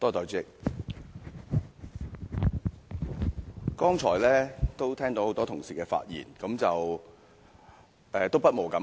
代理主席，聽到剛才多位同事的發言，不無感慨。